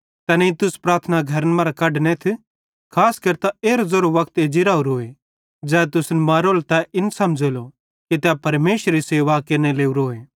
तैनेईं तुस प्रार्थना घरन मरां कढनेथ खास केरतां एरो ज़ेरो वक्त एज्जी राहोरोए ज़ै तुसन मारेलो तै इन समझ़ेलो कि तै परमेशरेरी सेवा केरने लोरोए